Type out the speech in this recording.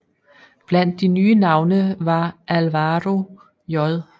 Blandt de nye navne var Álvaro J